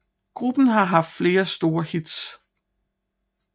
Gruppen har haft flere store hits